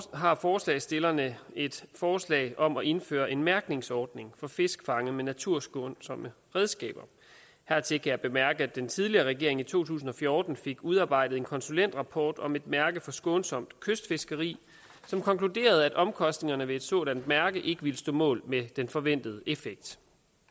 har forslagsstillerne et forslag om at indføre en mærkningsordning for fisk fanget med naturskånsomme redskaber hertil kan jeg bemærke at den tidligere regering i to tusind og fjorten fik udarbejdet en konsulentrapport om et mærke for skånsomt kystfiskeri som konkluderede at omkostningerne ved et sådan mærke ikke ville stå mål med den forventede effekt